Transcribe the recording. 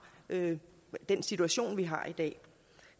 den situation vi har i dag